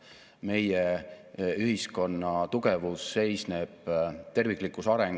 Üha enam peavad ettevõtjad olema võimelised kas tarnijale või lõpptarbijale näitama, mis on toote kogu väärtusahela keskkonnajalajälg.